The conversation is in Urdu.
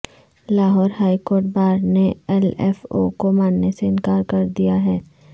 لاہور ہائی کورٹ بار نے ایل ایف او کوماننے سے انکار کر دیا ہے